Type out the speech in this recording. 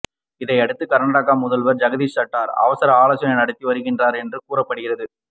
இதை அடுத்து கர்நாடக முதல்வர் ஜகதீஷ் ஷட்டர் அவசர ஆலோசனை நடத்தி வருகிறார் என்றும் கூறப்படுகிறது